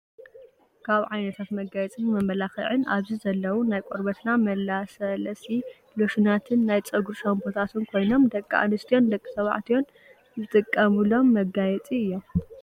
ካብ ዓይነታት መጋየፅን መመላኪዕን ኣብዚ ዘለው ናይ ቆርበትና መላስለሲ ሎሽናትን ናይ ፀጉሪ ሻፖታትን ኮይኖም ደቂ ኣንስትዮን ደቂ ተባዕትዮን ዝጥቀምሎም መጋፂ እዮም።